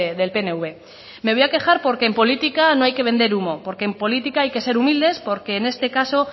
del pnv me voy a quejar porque en política no hay que vender humo porque en política hay que ser humildes porque en este caso